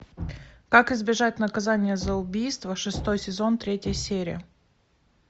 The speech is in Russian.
как избежать наказание за убийство шестой сезон третья серия